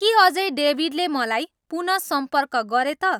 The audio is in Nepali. के अझै डेभिडले मलाई पुनः सम्पर्क गरे त